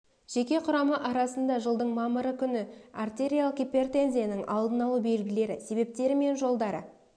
жеке құрамы арасында жылдың мамыры күні артериялық гипертензияның алдын алу белгілері себептері мен емдеу жолдары